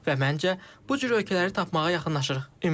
Və məncə, bu cür ölkələri tapmağa yaxınlaşırıq.